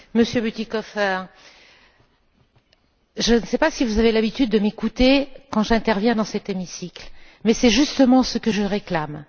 Monsieur Bütikofer, je ne sais pas si vous avez l'habitude de m'écouter quand j'interviens dans cet hémicycle mais c'est justement ce que je réclame.